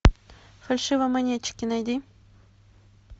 фальшивомонетчики найди